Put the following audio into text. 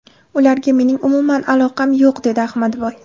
Ularga mening umuman aloqam yo‘q”, dedi Ahmadboy.